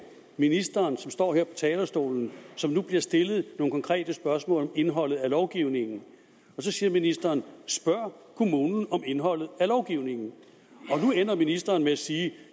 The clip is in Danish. ministeren som står her på talerstolen som nu bliver stillet nogle konkrete spørgsmål om indholdet af lovgivningen og så siger ministeren spørg kommunen om indholdet af lovgivningen nu ender ministeren med at sige